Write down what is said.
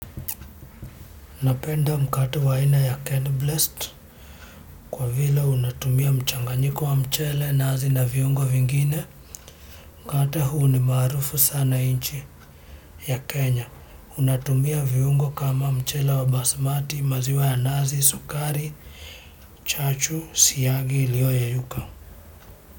Napenda mkate wa aina ya Ken Blest kwa vile unatumia mchanganyiko wa mchele, nazi na viungo vingine. Mkatme huu ni maarufu sana nchi ya Kenya. Unatumia viungo kama mchele wa basmati, maziwa ya nazi, sukari chachu, siagi iliyoyeyuka.